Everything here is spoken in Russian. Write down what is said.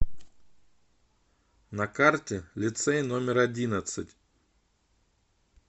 на карте лицей номер одиннадцать